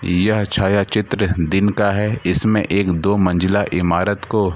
यह छाया चित्र दिन का है इसमें एक दो मंजिला इमारत को --